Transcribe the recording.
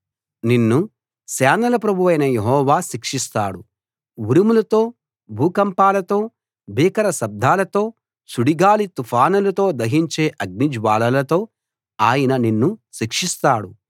నిన్ను సేనల ప్రభువైన యెహోవా శిక్షిస్తాడు ఉరుములతో భూకంపాలతో భీకర శబ్దాలతో సుడిగాలి తుఫానులతో దహించే అగ్నిజ్వాలలతో ఆయన నిన్ను శిక్షిస్తాడు